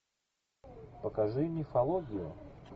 покажи мифологию